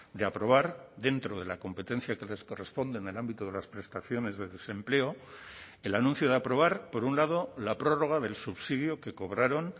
de aprobar dentro de la competencia que les corresponde en el ámbito de las prestaciones de desempleo el anuncio de aprobar por un lado la prórroga del subsidio que cobraron